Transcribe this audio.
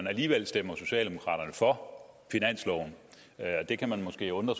og alligevel stemmer socialdemokraterne for finansloven det kan måske undre